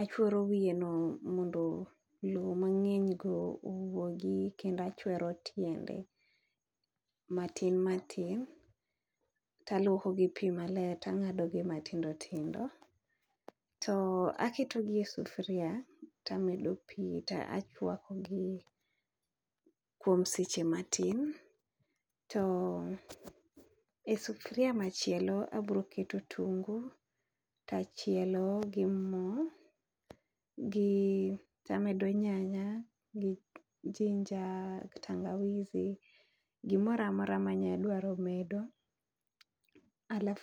achwero wiye no mondo lo mang'eny go owuogi kendo achwero tiende matin matin. Talwoko gi pi maler tang'ado matindo tindo. To aketo gi e sufuria, to amedo pi to achwako gi kuom seche matin, to e sufria machielo abroketo otungu tachielo gi mo. Gi tamedo nyanya gi ginger, tangawizi, gimora mora ma adwaro medo.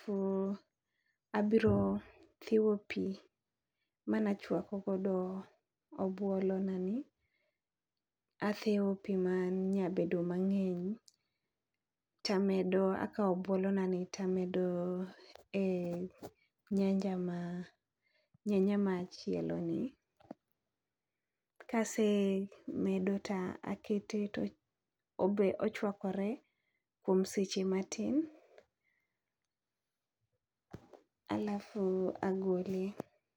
To abiro thiwo pi manachwako godo obuolo na ni, athiwo pi ma nya bedo mang'eny. Tamedo akawo obuolo nani tamedo e nyanja ma nyanya machielo ni. Kase medo ta akete to obe ochwakore kuom seche matin, alafu agole.